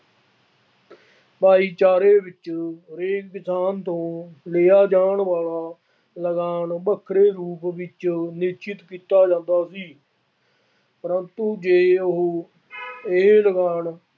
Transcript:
ਭਾਈਚਾਰੇ ਵਿੱਚ ਇਹ ਕਿਸਾਨ ਤੋਂ ਲਿਆ ਜਾਣ ਵਾਲਾ ਲਗਾਨ ਵੱਖਰੇ ਰੂਪ ਵਿੱਚ ਨਿਸ਼ਚਿਤ ਕੀਤਾ ਜਾਂਦਾ ਸੀ ਪਰੰਤੂ ਜੇ ਉਹ ਇਹ ਲਗਾਨ